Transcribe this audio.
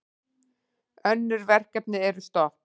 Önnur verkefni eru stopp.